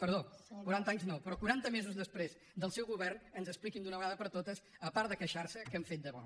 perdó quaranta anys no però quaranta mesos després del seu govern ens expliquin d’una vegada per totes a part de queixar se què han fet de bo